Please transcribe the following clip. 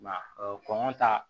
I m'a ye kɔngɔ ta